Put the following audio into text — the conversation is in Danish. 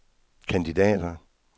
kandidater